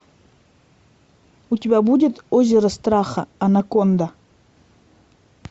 у тебя будет озеро страха анаконда